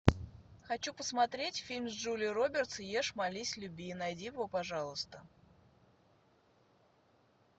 хочу посмотреть фильм с джулией робертс ешь молись люби найди его пожалуйста